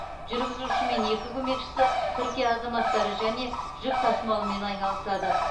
жүргізуші мен екі көмекшісі түркия азаматтары және жүк тасымалымен айналысады